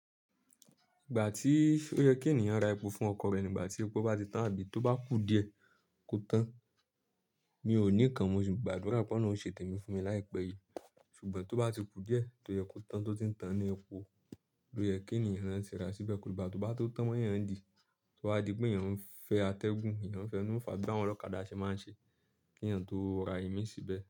Ìgbà tí ó yẹ kí ènìyàn ra epo fún ọkọ̀ rẹ̀ nígbà tí epo bá ti tán àbí tó bá kú díẹ̀, kó tán. Mi ò ní kan, mo sì gbàdúrà pé Ọlọhun ṣètè mí fún mi láìpẹ́ yìí. Ṣùgbọ́n tó bá ti kú díẹ̀, tó yẹ kó tán tó ti ń tanná epo, ló yẹ kí ènìyàn rán sì rà síbẹ̀. Kò ní bá tó bá tó tán yẹn dì, tó wá di pé ènìyàn ń fẹ́ atẹ́gùn, ènìyàn ń fẹ́ inúfa bí àwọn ọlọ́kadà ṣe máa ń ṣe kí ènìyàn tó ra ìmí síbẹ̀.